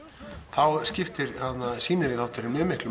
þá skiptir sýnilegi þátturinn miklu